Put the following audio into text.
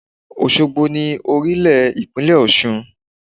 Òsogbo ni orílè ìpínlẹ̀ Òsun